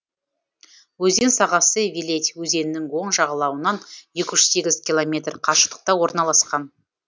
өзен сағасы виледь өзенінің оң жағалауынан екі жүз сегіз километр қашықтықта орналасқан